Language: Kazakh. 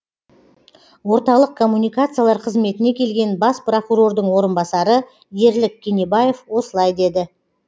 орталық коммуникациялар қызметіне келген бас прокурордың орынбасары ерлік кенебаев осылай деді